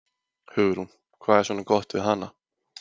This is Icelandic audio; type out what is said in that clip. Hugrún: Hvað er svona gott við hana?